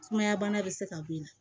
Sumaya bana bɛ se ka ben na